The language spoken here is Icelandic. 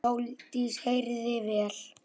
Sóldís heyrði vel.